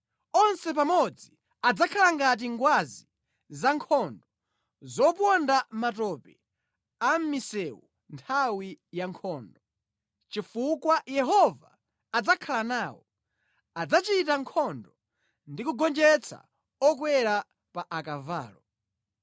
Onse pamodzi adzakhala ngati ngwazi zankhondo zoponda mʼmatope a mʼmisewu nthawi yankhondo. Chifukwa Yehova adzakhala nawo, adzachita nkhondo ndi kugonjetsa okwera pa akavalo.